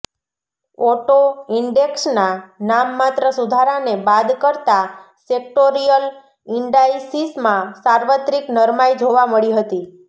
auto ઇન્ડેક્સના નામ માત્ર સુધારાને બાદ કરતા સેક્ટોરિયલ ઇન્ડાઇસિસમાં સાર્વત્રિક નરમાઇ જોવા મળી હતી